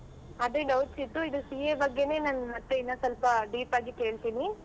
ಅದೇ doubts ಇತ್ತು ಅದು CA ಬಗ್ಗೆನೇ ನನ್ ಮತ್ತೆ ಇನ್ನು ಸ್ವಲ್ಪ deep ಆಗಿ ಕೇಳ್ತೀನಿ.